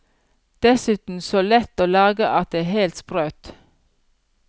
Dessuten så lett å lage at det er helt sprøtt.